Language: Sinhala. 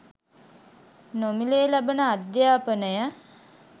නොමිලයේ ලබන අධ්‍යාපනය